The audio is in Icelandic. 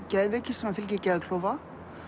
geðveiki sem fylgir geðklofa